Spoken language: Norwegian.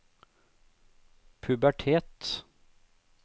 pubertet